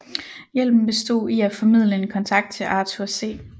Hjælpen bestod i at formidle en kontakt til Arthur C